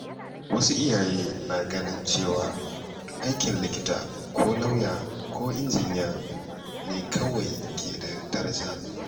Wasu iyaye na ganin cewa aikin likita ko lauya ko injiniya ne kawai ke da daraja.